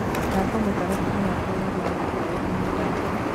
thaka mũtaratara wakwa wa guthakaũria nyendete